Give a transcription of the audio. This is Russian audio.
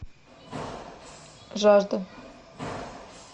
жажда